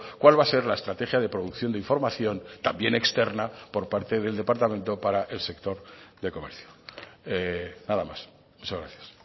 cuál va a ser la estrategia de producción de información también externa por parte del departamento para el sector de comercio nada más muchas gracias